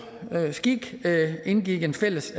skik indgik en fælles